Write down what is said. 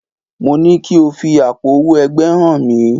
Mo ní ko fi àpò owó ẹgbẹ́ hàn mí!